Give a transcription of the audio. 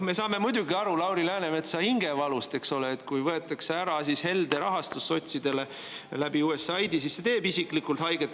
Me saame muidugi aru Lauri Läänemetsa hingevalust, eks ole, et kui sotsidelt võetakse ära USAID‑i kaudu helde rahastus, siis see teeb isiklikult haiget.